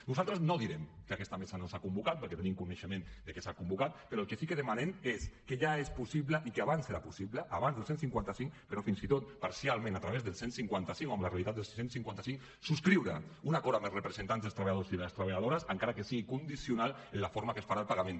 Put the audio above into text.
nosaltres no direm que aquesta mesa no s’ha convocat perquè tenim coneixement de que s’ha convocat però el que sí que demanem és que ja és possible i que abans era possible abans del cent i cinquanta cinc però fins i tot parcialment a través del cent i cinquanta cinc o amb la realitat del cent i cinquanta cinc subscriure un acord amb els representants dels treballadors i de les treballadores encara que sigui condicional en la forma que es farà el pagament